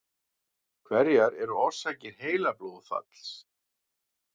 hverjar eru orsakir heilablóðfalls